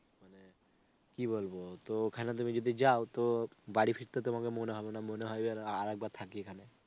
কি বলবো তো ওখানে তুমি যদি যাও তো বাড়ি ফিরতে তোমাকে মন হবে না, মনে হবে যেন আরেকবার থাকি এখানে.